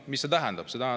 Mida see tähendab?